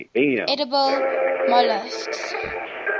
edible molluscs